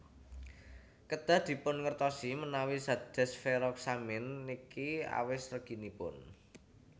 Kedah dipun ngertosi menawi zat desferoxamine niki awis reginipun